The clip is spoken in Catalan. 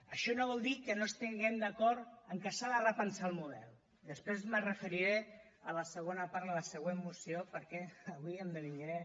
això no vol dir que no estiguem d’acord amb que s’ha de repensar el model després m’hi referiré a la segona part de la següent moció perquè avui em dividiré